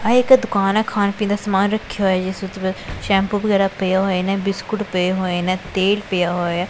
ਇਹ ਇੱਕ ਦੁਕਾਨ ਐ ਖਾਣ ਪੀਣ ਦਾ ਸਮਾਨ ਰੱਖਿਆ ਹੋਇਆ ਜਿਸ ਉੱਤੇ ਸੈਂਪੂ ਵਗੈਰਾ ਪਏ ਹੋਏ ਨੇਂ ਬਿਸਕੁਟ ਪਏ ਹੋਏ ਨੇਂ ਤੇਲ ਪਿਆ ਹੋਇਐ।